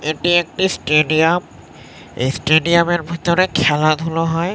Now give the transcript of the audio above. এটি একটি স্টেডিয়াম এই স্টেডিয়াম -এর ভিতরে খেলাধুলো হয়।